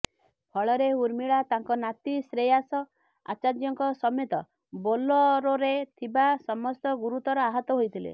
ଫଳରେ ଉର୍ମିଳା ତାଙ୍କ ନାତି ଶ୍ରେୟାସ ଆଚାର୍ୟ୍ୟ ଙ୍କ ସମେତ ବୋଲେରୋରେ ଥିବା ସମସ୍ତେ ଗୁରୁତର ଆହତ ହୋଇଥିଲେ